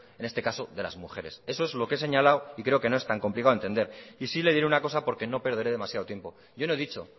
en este caso de las mujeres eso es lo que he señalado y creo que no es tan complicado entender y sí le diré una cosa porque no perderé demasiado tiempo yo no he dicho